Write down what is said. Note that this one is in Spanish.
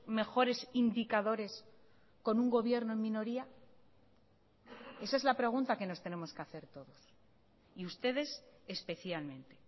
mejores indicadores con un gobierno en minoría esa es la pregunta que nos tenemos que hacer todos y ustedes especialmente